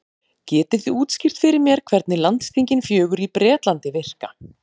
Getið þið útskýrt fyrir mér hvernig landsþingin fjögur í Bretlandi virka?